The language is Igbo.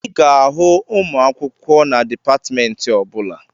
Ị ga-ahụ ụmụ akwụkwọ na dịpatmentị ọbụla